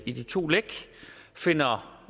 i de to læk finder